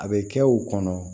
A bɛ kɛ u kɔnɔ